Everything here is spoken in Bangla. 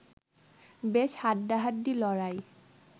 বেশ হাড্ডাহাড্ডি লড়াই